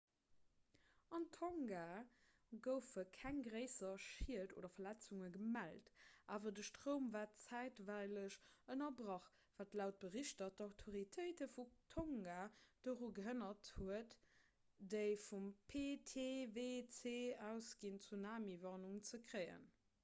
an tonga goufe keng gréisser schied oder verletzunge gemellt awer de stroum war zäitweileg ënnerbrach wat laut berichter d'autoritéite vun tonga doru gehënnert huet déi vum ptwc ausginn tsunamiwarnung ze kréien